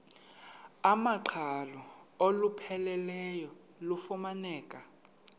iwamaqhalo olupheleleyo lufumaneka